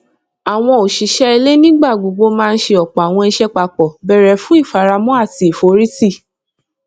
àwọn òṣìṣẹ ilé nígbà gbogbo máa n ṣe ọpọ àwọn iṣẹ papọ béré fún ìfaramọ àti ìforìtì